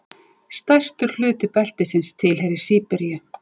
Stærstur hluti beltisins tilheyrir Síberíu.